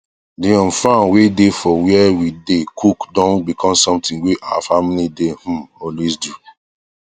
the um farm wae dae for where we dae cook don become something wae our family dae um always do